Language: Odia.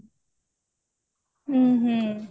ହଁ ହଁ